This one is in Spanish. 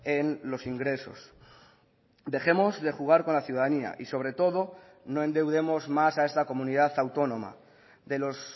en los ingresos dejemos de jugar con la ciudadanía y sobre todo no endeudemos más a esta comunidad autónoma de los